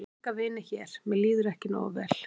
Ég á enga vini hér mér líður ekki nógu vel.